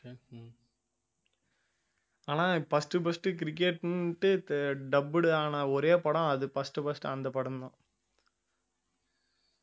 ஆனா first first cricket ன்டு தெ~ dubbed ஆன ஒரே படம் அது first first அந்த படம்தான்